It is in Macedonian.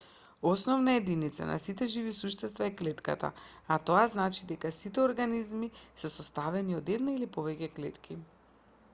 основна единица на сите живи суштества е клетката а тоа значи дека сите организми се составени од една или повеќе клетки